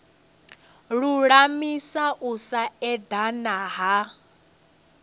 lulamisa u sa edana ha